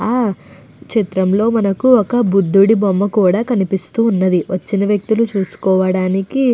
ఆ చిత్రంలో మనకు ఒక బుధుడి బొమ్మ కూడా కనిపిస్తూ ఉన్నది. వచ్చిన వ్యక్తులు చూసుకోవడానికి --